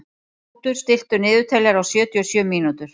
Knútur, stilltu niðurteljara á sjötíu og sjö mínútur.